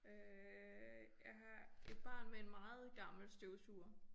Øh jeg har et barn med en meget gammel støvsuger